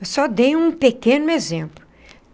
Eu só dei um pequeno exemplo.